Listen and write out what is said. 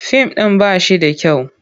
Fim ɗin ba shi da kyau.